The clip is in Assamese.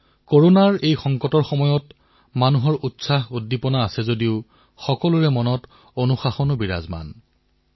কৰোনাৰ এই সংকটৰ সময়ছোৱাত জনসাধাৰণত মনত উৎসাহউদ্দীপনাৰ লগতে অনুশাসনেও ঠাই পাইছে